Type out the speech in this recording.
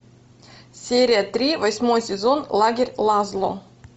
серия три восьмой сезон лагерь лазло